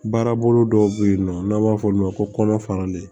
Baarabolo dɔw bɛ yen nɔ n'an b'a f'olu ma ko kɔnɔ faralen